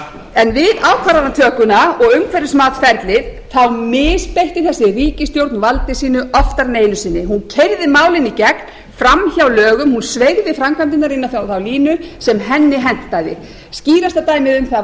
en við ákvarðanatökuna og umhverfismatsferlið misbeitti þessi ríkisstjórn valdi sínu oftar en einu sinni hún keyrði málin í gegn fram hjá lögum hún sveigði framkvæmdirnar inn á þá línu sem henni hentaði skýrasta dæmið um það